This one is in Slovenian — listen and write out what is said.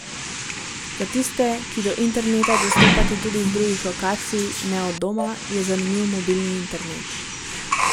Za tiste, ki do interneta dostopate tudi z drugih lokacij, ne od doma, je zanimiv mobilni internet.